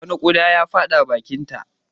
Wani ƙuda ya fada bakinta.